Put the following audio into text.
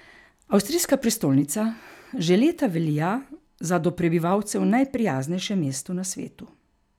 Avstrijska prestolnica že leta velja za do prebivalcev najprijaznejše mesto na svetu.